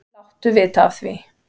Láttu vita af því.